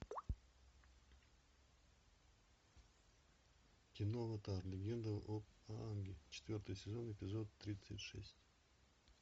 кино аватар легенда об аанге четвертый сезон эпизод тридцать шесть